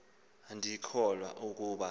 andikholwa ukuba ukho